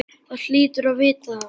Þú hlýtur að vita það.